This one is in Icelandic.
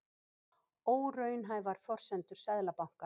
Óraunhæfar forsendur Seðlabanka